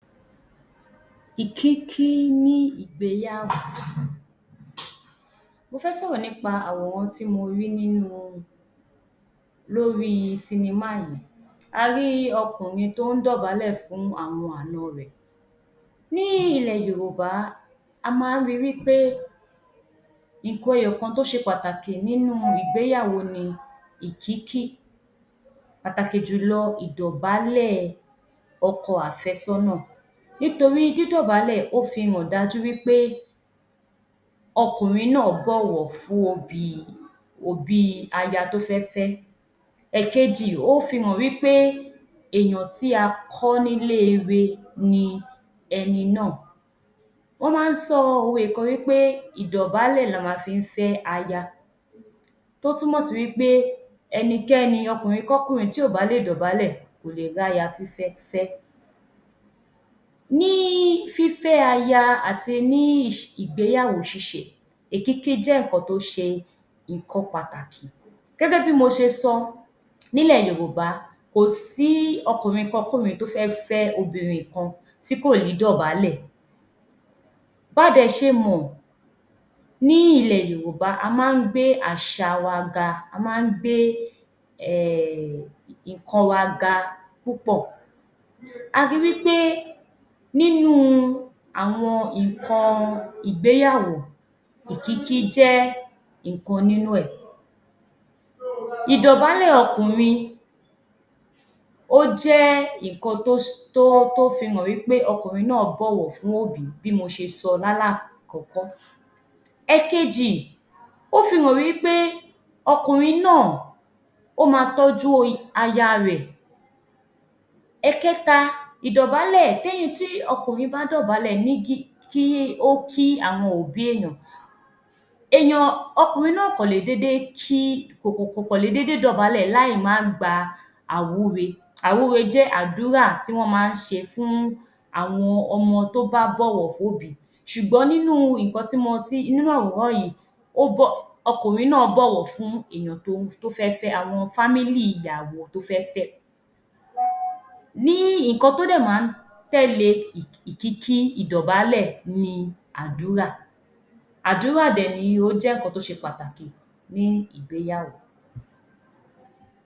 Ìkíkí ní ìgbéyàwó. Mo fẹ́ sọ̀rọ̀ nípa àwòrán tí mo rí lórí sinemá yìí. A rí ọkùnrin tó ń dọ̀bálẹ̀ fún àwọn ànọ rẹ̀. Ní ilẹ̀ Yorùbá, a máa ń ri wí pé nǹkan ẹyọ̀kan tó ṣe pàtàkì nínú ìgbéyàwó ni ìkíkí, pàtàkì jù lọ ìdọ̀bálẹ̀ ọkọ àfẹ́sọ́nà. Nítorí dídọ̀bálẹ̀ ó fi hàn dájú wí pé ọkùnrin náà bọ̀wọ̀ fún òbí aya tó fẹ́ fẹ́. Èkejì, ó fi hàn wí pé èèyàn tí a kọ́ nílé ire ni ẹni náà. Wọ́n máa ń sọ òwe kan wí pé: ìdọ̀bálẹ̀ la ma fi ń fẹ́ aya. Tó tún mọ̀ sí wí pé, ẹni kẹ́ni, ọkùnrin kọ́kùnrin tí ò bá lè dọ̀bálẹ̀, kò lè ráya fífẹ́ fẹ́. Ní fífẹ́ aya àti ní ìgbéyàwó ṣíṣe, ìkíkí jẹ́ nǹkan tó ṣe nǹkan pàtàkì. Gẹ́gẹ́ bí mo ṣe sọ, nílẹ̀ Yorùbá, kò sí ọkùnrin kọ́kùnrin tó fẹ́ fẹ́ obìnrin kan tí kò ní dọ̀bálẹ̀. Ba dẹ̀ ṣe mọ̀ ní ilẹ̀ Yorùbá, a máa ń gbé àṣà wa ga, a máa ń gbé nǹkan wa ga púpọ̀. A ri wí pé nínú àwọn nǹkan ìgbéyàwó, ìkíkí jẹ́ nǹkan nínú ẹ̀. Ìdọ̀bálẹ̀ ọkùnrin, ó jẹ́ nǹkan tó fi hàn wí pé ọkùnrin náà bọ̀wọ̀ fún òbí bí mo ṣe sọ lálá kọ̀ọ́kọ́. Èkejì, ó fi hàn wí pé ọkùnrin náà ó ma tọ́jú aya rẹ̀. Ẹ̀kẹ́ta, tí ọkùnrin bá dọ̀bálẹ̀ kí àwọn òbí èèyàn, ọkùnrin náà ò kọ̀ lè dédé dọ̀bálẹ̀ láì má gba àwúre. Àwúre jẹ́ àdúrà tí wọ́n máa ń ṣe fún àwọn ọmọ tó bá bọ̀wọ̀ fóbìí ṣùgbọ́n nínú àwòrán yìí, ọkùnrin náà bọ̀wọ̀ fún àwọn fámílì ìyàwó tó fẹ́ fẹ́. Ní nǹkan tó dẹ̀ máa ń tẹ́lẹ̀ ìkíkí, ìdọ̀bálẹ̀ ni àdúrà. Àdúrà dẹ̀ nìyí, ó jẹ́ nǹkan tó ṣe pàtàkì ní ìgbéyàwó.